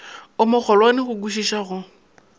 o mogolwane go kwišiša go